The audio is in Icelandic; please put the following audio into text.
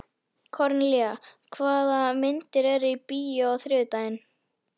Kornelía, hvaða myndir eru í bíó á þriðjudaginn?